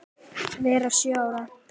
vera sjö ár!